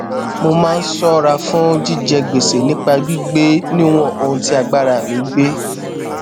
mo máa ń ṣóra fún jíjẹ gbèsè nípa gbígbé níwòn ohun tí agbára mi gbé